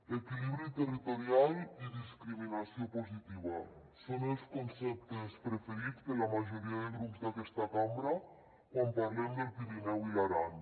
equilibri territorial i discriminació positiva són els conceptes preferits de la majoria de grups d’aquesta cambra quan parlem del pirineu i l’aran